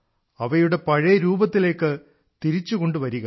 അവയുടെ പഴയ രൂപത്തിലേക്ക് തിരിച്ചുകൊണ്ടുവരിക